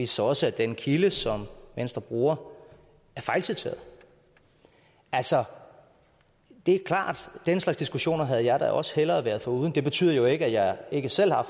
sig også at den kilde som venstre bruger er fejlciteret altså det er klart at den slags diskussioner havde jeg da også hellere været foruden det betyder jo ikke at jeg ikke selv har